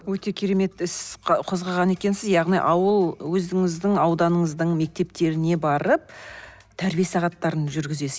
өте керемет іс қозғаған екенсіз яғни ауыл өзіңіздің ауданыныздың мектептеріне барып тәрбие сағаттарын жүргізесіз